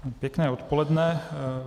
Pěkné odpoledne.